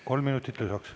Kolm minutit lisaks.